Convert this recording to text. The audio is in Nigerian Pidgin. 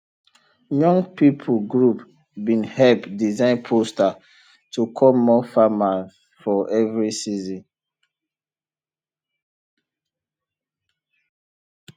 young people group bin help design poster to call more farmer for every season